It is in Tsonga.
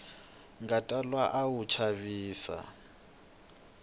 nga twala a wu chavisa